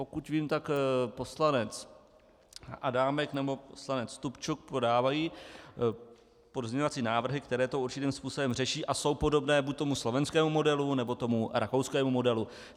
Pokud vím, tak poslanec Adámek nebo poslanec Stupčuk podávají pozměňovací návrhy, které to určitým způsobem řeší a jsou podobné buď tomu slovenskému modelu, nebo tomu rakouskému modelu.